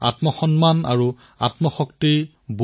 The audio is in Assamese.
ইয়াত বিভিন্ন গতিবিধিও আছে খেলো আছে